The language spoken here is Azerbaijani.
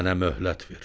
Mənə möhlət ver!